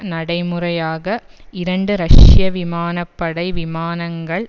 நடைமுறையாக இரண்டு ரஷ்ய விமான படை விமானங்கள்